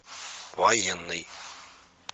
военный